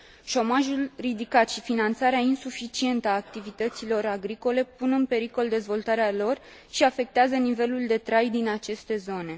Șomajul ridicat și finanțarea insuficientă a activităților agricole pun în pericol dezvoltarea lor și afectează nivelul de trai din aceste zone.